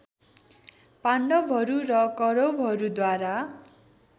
पाण्डवहरू र कौरवहरूद्वारा